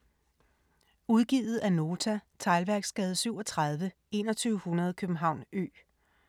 Udgivet af Nota Teglværksgade 37 2100 København Ø